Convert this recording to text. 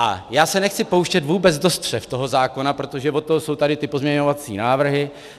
A já se nechci pouštět vůbec do střev toho zákona, protože od toho jsou tady ty pozměňovací návrhy.